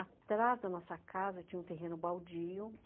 Atrás da nossa casa tinha um terreno baldio.